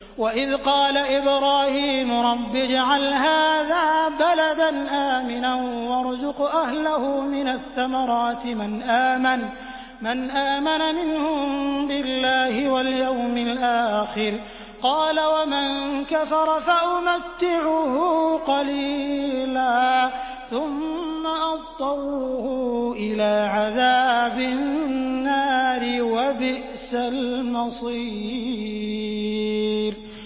وَإِذْ قَالَ إِبْرَاهِيمُ رَبِّ اجْعَلْ هَٰذَا بَلَدًا آمِنًا وَارْزُقْ أَهْلَهُ مِنَ الثَّمَرَاتِ مَنْ آمَنَ مِنْهُم بِاللَّهِ وَالْيَوْمِ الْآخِرِ ۖ قَالَ وَمَن كَفَرَ فَأُمَتِّعُهُ قَلِيلًا ثُمَّ أَضْطَرُّهُ إِلَىٰ عَذَابِ النَّارِ ۖ وَبِئْسَ الْمَصِيرُ